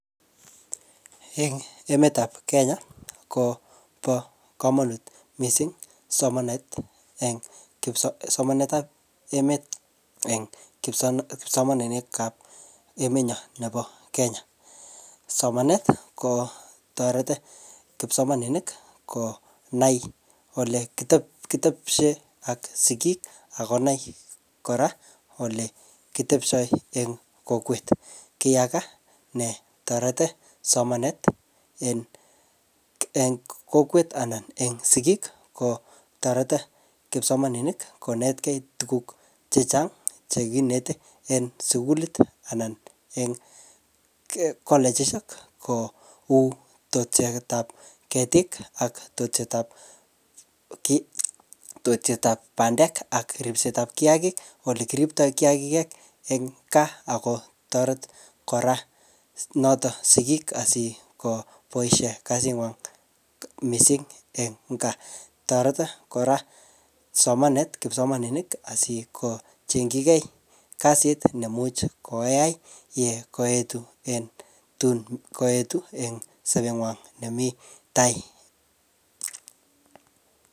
Eng emetab Kenya ko bokomonut mising somanetab emet eng kipsomaninikab emenyon nebo Kenya, somanet kotoreti kipsomaninik konai olekitebtoi ak sikik ak konai kora olekitebtoi eng kokwet, kiyaka netoreti somanet eng kokwet anan eng sikik ko toreti kipsomaninik konetkei tukuk chechang chekineti en sukulit anan en kolegishek ko woo tetutietab ketik ak tetetab bandek ak ribsetab kiakik, olekiripto kiakik eng kaa ak kotoret kora noto sikiik asikoboishe kasingwa mising en kaa, toreti kora somanet kipsomaninik asikochengyike kasit neimuch koyaoi yekoitu eng sobenywan nemii taai.